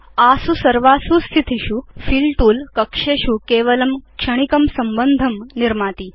आसु सर्वासु स्थितिषु फिल तूल कक्षेषु केवलं क्षणिकं संबन्धं निर्माति